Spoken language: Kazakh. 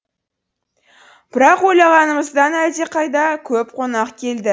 бірақ ойлағанымыздан әлдеқайда көп қонақ келді